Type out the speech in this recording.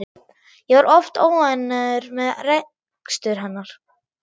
Ég var oft óánægður með rekstur hennar.